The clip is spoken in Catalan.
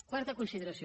quarta consideració